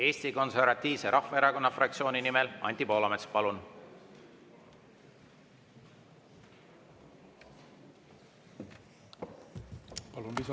Eesti Konservatiivse Rahvaerakonna fraktsiooni nimel Anti Poolamets, palun!